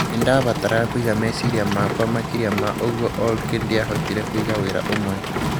Nĩ ndabataraga kũiga meciria makwa makĩria ma ũguo olky ndiahotire kũiga wĩra ũmwe